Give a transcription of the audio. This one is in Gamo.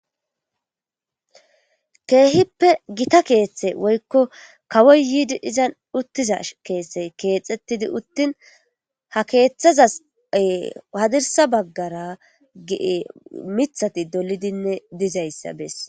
Keehippe gita keeththe woyikko kawoy yiidi izan uttiza keese keexxettidi uttin ha keeththazase hadirsa baggara ge'e mithati dolidinne dizayssa bes